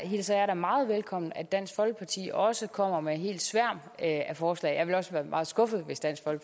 hilser jeg da meget velkommen at dansk folkeparti også kommer med en helt sværm af forslag jeg ville også være meget skuffet hvis dansk